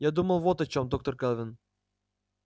я думал вот о чем доктор кэлвин